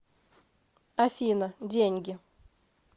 афина деньги